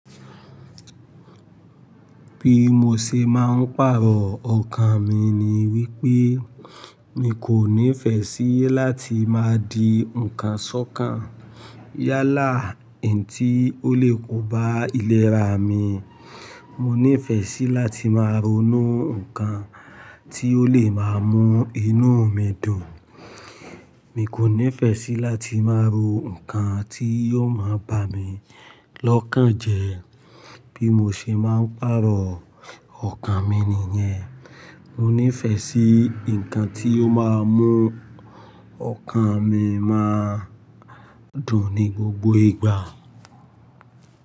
Bi mo ṣe máa ń pàrọ̀ ọkàn mi ni wípé mi kò nífẹ̀ẹ́ sí láti máa di ǹkan ṣọ́kàn. Yálà ẹ̀ n tí ó le kó bá ìlera mi. Mo nífẹ̀ẹ́ sí láti máa ronú ǹkan tí ó lè máa mú inú mi dùn. Mi kò nífẹ̀ẹ́ sí láti máa ro ǹkan tí yóò máa bá mi lọ́kàn jẹ. Bí mo ṣe máa ń pàrọ̀ ọkàn mi nìyẹn. Mo nífẹ̀ẹ́ sí ǹkan tí yóò máa mú ọkàn mi máa dùn ní gbogbo ìgbà.